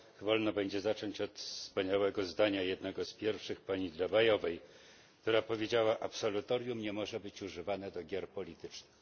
Niech mi wolno będzie zacząć od wspaniałego zdania, jednego z pierwszych pani Dlabajovej, która powiedziała absolutorium nie może być używane do gier politycznych.